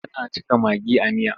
Tana cika magi a miya.